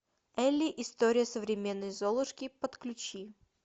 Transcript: элли история современной золушки подключи